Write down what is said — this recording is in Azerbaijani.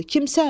Kim sən?